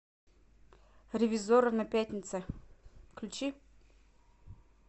ревизорро на пятнице включи